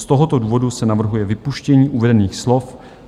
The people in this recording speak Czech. Z tohoto důvodu se navrhuje vypuštění uvedených slov.